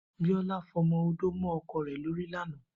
Biola fọ ọmọ-ódó mọ ọkọ ẹ̀ lóri làná